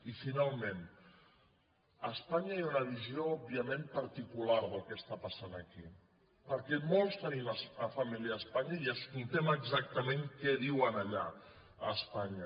i finalment a espanya hi ha una visió òbviament par·ticular del que passa aquí perquè molts tenim família a espanya i escoltem exactament què diuen allà a es·panya